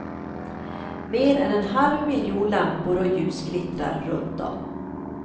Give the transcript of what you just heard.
Mer än en halv miljon lampor och ljus glittrar runt dem.